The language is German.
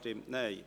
Non Enthalten